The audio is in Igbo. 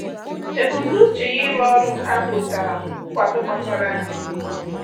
Ebumnuche ya ịrụ ọrụ nka nwetara nkwado kpachara anya.